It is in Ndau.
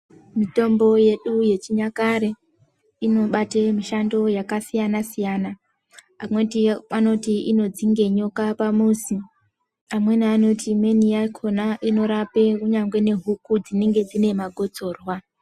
Mitombo yedu yechinyakare inobata mishando yedu yakasiyana-siyana amweni anoti inodzinga nyoka pamuzi amweni anoti inorapa huku dzinenge dzine makotsorwa.